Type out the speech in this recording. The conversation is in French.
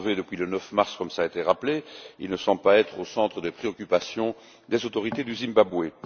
Enlevé depuis le 9 mars, comme cela a été rappelé, il ne semble pas être au centre des préoccupations des autorités du Zimbabwe.